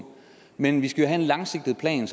men vi skal jo have en langsigtet plan